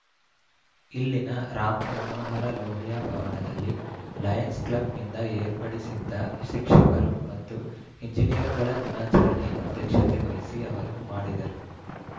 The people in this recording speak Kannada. ಇಲ್ಲಿನ ರಾಮ ಮನೋಹರ ಲೋಹಿಯಾ ಭವನದಲ್ಲಿ ಲಯನ್ಸ್‌ ಕ್ಲಬ್‌ನಿಂದ ಏರ್ಪಡಿಸಿದ್ದ ಶಿಕ್ಷಕರು ಮತ್ತು ಎಂಜಿನಿಯರ್‌ಗಳ ದಿನಾಚರಣೆ ಅಧ್ಯಕ್ಷತೆ ವಹಿಸಿ ಅವರು ಮಾಡಿದರು